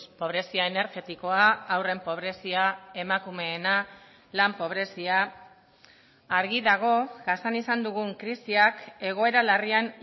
pobrezia energetikoa haurren pobrezia emakumeena lan pobrezia argi dago jasan izan dugun krisiak egoera larrian